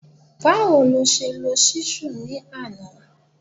Báwo ló ṣe lo Ṣísù ni àná?